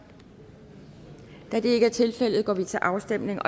da det ikke er tilfældet går vi til afstemning